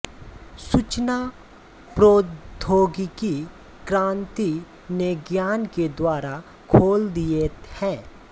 सूचना प्रौद्योगिकी क्रान्ति ने ज्ञान के द्वार खोल दिये है